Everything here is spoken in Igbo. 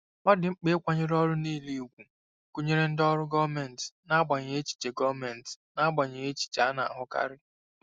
Ọ dị mkpa ịkwanyere ọrụ niile ùgwù, gụnyere ndị ọrụ gọọmentị, n'agbanyeghị echiche gọọmentị, n'agbanyeghị echiche a na-ahụkarị.